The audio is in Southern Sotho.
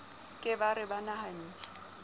ke ba re ba nahanne